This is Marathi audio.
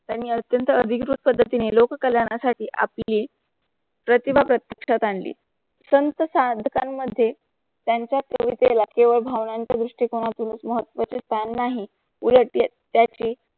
त्यांनी अत्यंत अधिकृत पद्धतीने लोक कल्याणा साठी आपली प्रतिभा प्रत्येक्षात आणली. संत साधकांमध्ये त्यांचा कवितेला किंवा भावनांच्या दृष्टिकोनातूनच महत्व च स्थान नाही उलट त्याची